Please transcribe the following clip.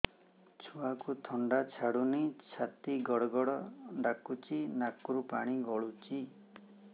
ଛୁଆକୁ ଥଣ୍ଡା ଛାଡୁନି ଛାତି ଗଡ୍ ଗଡ୍ ଡାକୁଚି ନାକରୁ ପାଣି ଗଳୁଚି